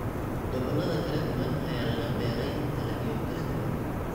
Gobollada kala duwan ayaa laga beeray dalagyo kala duwan.